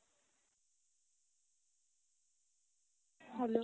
hello.